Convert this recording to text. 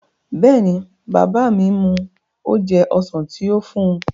Bẹ́ẹ̀ni, bàbá mi mu oje ọsàn tí ó fún un